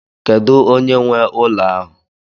Kedu onye nwe ụlọ ahụ?